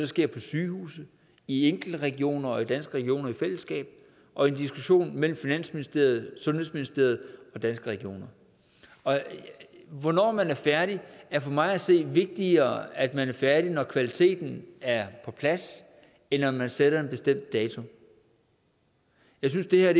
sker på sygehuse i enkelte regioner og i danske regioner i fællesskab og i en diskussion mellem finansministeriet sundhedsministeriet og danske regioner hvornår er man færdig det er for mig at se vigtigere at man er færdig når kvaliteten er på plads end at man sætter en bestemt dato jeg synes det her